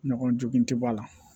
Ɲɔgɔnjugu tɛ bɔ a la